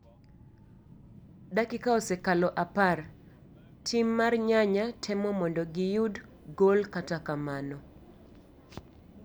Dakika osekalo apar ,tim mar nyanya temo mondo gi yud gol kata kamano,